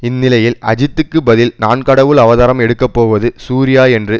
இந்நிலையில் அஜித்துக்கு பதில் நான் கடவுள் அவதாரம் எடுக்கப்போவது சூர்யா என்று